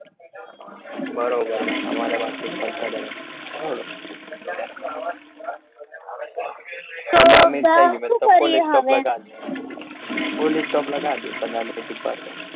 બરોબરઅમાર એ બાજ થી ફરવા જવાનું છે તો શું કરીએ હવે પોલીસ ચોક લગાડી પંદર minute પાસી